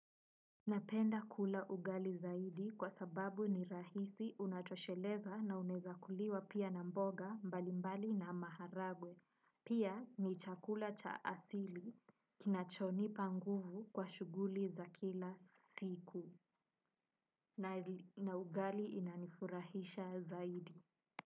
Napenda kula ugali zaidi kwa sababu ni rahisi unatosheleza na unaeza kuliwa pia na mboga mbali mbali na maharagwe pia ni chakula cha asili kinacho nipa nguvu kwa shuguli za kila siku na ugali inanifurahisha zaidi.